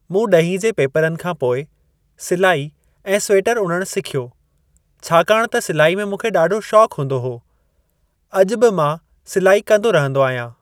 मूं ॾहीं जे पेपरनि खां पोइ सिलाई ऐं स्वेटर उणण सिख्यो छाकाणि त सिलाई में मूंखे ॾाढो शौक़ु हूंदो हो। अॼु बि मां सिलाई कंदो रहंदो आहियां।